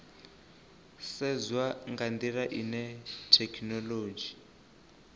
sedzwa nga ndila ine thekhinolodzhi